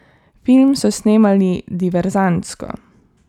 Film so snemali diverzantsko.